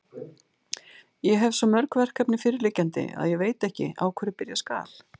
Ég hefi svo mörg verkefni fyrirliggjandi, að ég veit ekki, á hverju byrja skal.